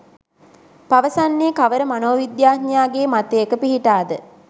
පවසන්නේ කවර මනෝවිද්‍යාඥයාගේ මතයක පිහිටාද?